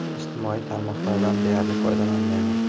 Ijtimoiy tarmoqlardan deyarli foydalanmayman.